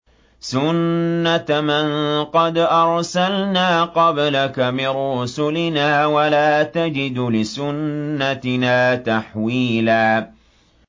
سُنَّةَ مَن قَدْ أَرْسَلْنَا قَبْلَكَ مِن رُّسُلِنَا ۖ وَلَا تَجِدُ لِسُنَّتِنَا تَحْوِيلًا